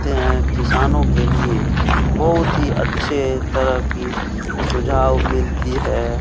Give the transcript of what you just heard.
होते है। किसनो के लिये बोहोत ही अच्छा तरह की सुजाव मिलती है।